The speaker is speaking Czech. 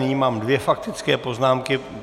Nyní mám dvě faktické poznámky.